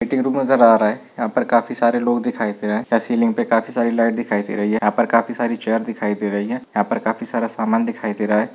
Meeting room नजर आ रहा है यहां पर काफी सारे लोग दिखायी दे रहे हैं। काफी सारी लाइट दिखायी दे रही हैं यहां पर काफी सारी चेयर दिखाई दे रही हैं। यहां पर काफी सारा सामान दिखाइ दे रहा है।